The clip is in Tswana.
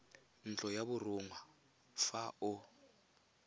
ntlo ya borongwa fa o